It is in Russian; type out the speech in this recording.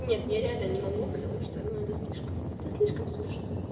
нет я реально не могу потому что ну это слишком это слишком смешно